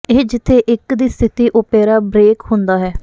ਇਹ ਜਿੱਥੇ ਇੱਕ ਦੀ ਸਥਿਤੀ ਓਪੇਰਾ ਬ੍ਰੇਕ ਹੁੰਦਾ ਹੈ